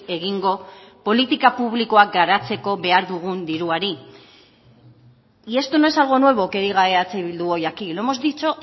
egingo politika publikoak garatzeko behar dugun diruari y esto no es algo nuevo que diga eh bildu hoy aquí lo hemos dicho